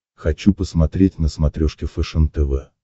хочу посмотреть на смотрешке фэшен тв